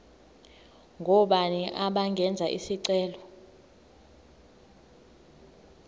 ngobani abangenza isicelo